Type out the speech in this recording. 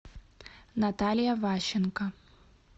наталья ващенко